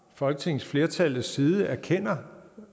folketingsflertallets side erkender